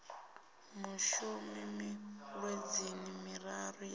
mushumi miṅwedzini miraru ya u